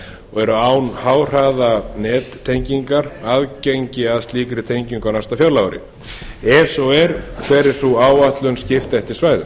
og eru án háhraðanettengingar aðgengi að slíkri tengingu á næsta fjárlagaári ef svo er hver er sú áætlun skipt eftir svæðum